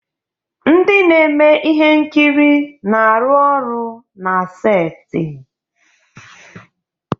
Ndị na-eme ihe nkiri na-arụ ọrụ na seti